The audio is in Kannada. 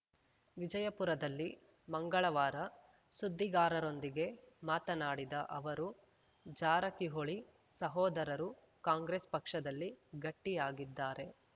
ವಿಜಯಪುರದಲ್ಲಿ ಮಂಗಳವಾರ ಸುದ್ದಿಗಾರರೊಂದಿಗೆ ಮಾತನಾಡಿದ ಅವರು ಜಾರಕಿಹೊಳಿ ಸಹೋದರರು ಕಾಂಗ್ರೆಸ್‌ ಪಕ್ಷದಲ್ಲಿ ಗಟ್ಟಿಯಾಗಿದ್ದಾರೆ